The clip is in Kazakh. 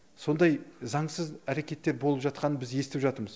сондай заңсыз әрекеттер болып жатқанын біз естіп жатырмыз